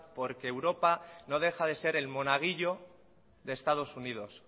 porque europa no deja de ser el monaguillo de estados unidos